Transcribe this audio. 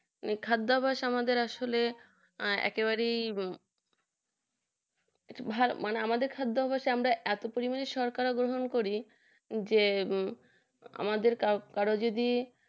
এই খাদ্যাভাস আসলে আমাদের আসলে একেবারেই আমাদের খাদ্যে ভাস পরিমাণে সরকার অনুভব করি যে আমাদের কারো যদি